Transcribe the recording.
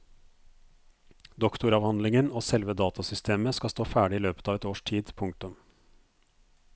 Doktoravhandlingen og selve datasystemet skal stå ferdig i løpet av et års tid. punktum